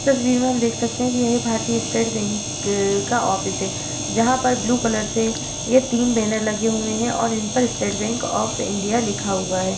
इस तस्वीर में हम देख सकते हैं कि भारतीय स्टेट बैंक का ऑफिस है। जहाँ पर ब्लू कलर के ये तीन बैनर लगे हुए हैं और इन पर स्टेट बैंक ऑफ़ इंडिया लिखा हुआ है।